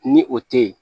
Ni o te ye